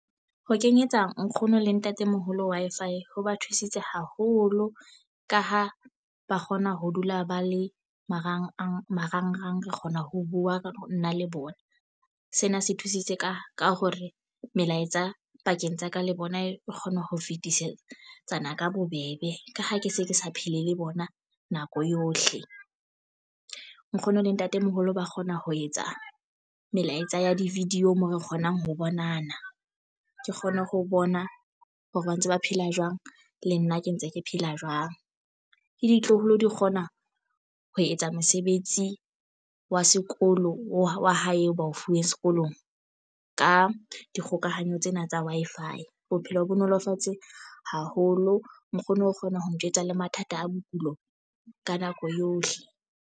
Ho kenyetsa nkgono le ntatemoholo Wi-Fi ho ba thusitse haholo. Ka ha ba kgona ho dula ba le marangrang marangrang, re kgona ho bua nna le bona. Sena se thusitse ka ka hore melaetsa pakeng tsa ka le bona e kgona ho fetisetsana ka bobebe. Ka ha ke se ke sa phele le bona nako yohle. Nkgono le ntatemoholo ba kgona ho etsa melaetsa ya di-video moo re kgonang ho bonana. Ke kgone ho bona hore ba ntse ba phela jwang, le nna ke ntse ke phela jwang. Le ditloholo do kgona ho etsa mosebetsi wa sekolo wa hae o bao fuweng sekolong ka dikgokahanyo tsena tsa Wi-Fi. Bophelo ho bo nolofatse haholo. Nkgono O kgona ho njwetsa le mathata a bokulo ka nako yohle.